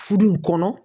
Furu in kɔnɔ